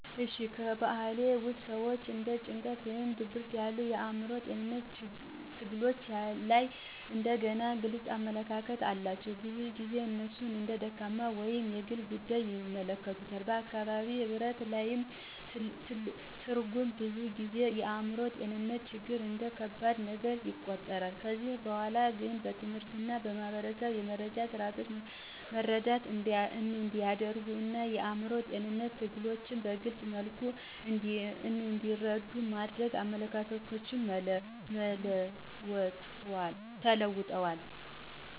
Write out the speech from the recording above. እሺ፣ ከበባህልዬ ውስጥ ሰዎች እንደ ጭንቀት ወይም ድብርት ያሉ የአእምሮ ጤንነት ትግሎች ላይ እንደገና ግልጽ አመለካከት አላቸው። ብዙ ጊዜ እነሱን እንደ ደካማ ወይም የግል ጉዳይ ይመለከታሉ፣ በአካባቢ ህብረት ላይ ትርጉም ብዙ ጊዜ የአእምሮ ጤንነትን ችግሮች እንደ ከባድ ነገር ይቆጠራል። ከጊዜ በኋላ ግን በትምህርት እና በማህበረሰብ የመረጃ ስርዓቶች መረዳት እንዲያደርጉ እና የአእምሮ ጤንነት ትግሎችን በግልፅ መልኩ እንዲረዱ በማድረግ አመለካከቶች ተለውጠዋል።